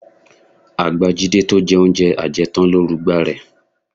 Àgbà Jídé tó jẹ oúnjẹ ajẹtán ló rugba rẹ